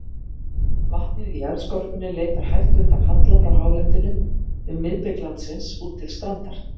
Vatnið í jarðskorpunni leitar hægt undan halla frá hálendinu um miðbik landsins út til strandar.